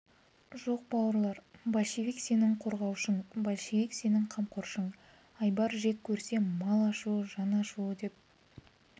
жоқ бауырлар большевик сенің қорғаушың большевик сенің қамқоршың айбар жек көрсе мал ашуы жан ашуы деп